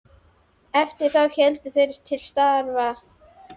Eftir það héldu þeir til starfa.